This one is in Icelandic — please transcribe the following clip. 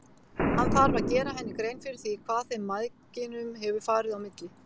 Hann þarf að gera henni grein fyrir því hvað þeim mæðginum hefur farið á milli.